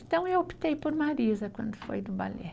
Então, eu optei por Marisa quando foi no balé.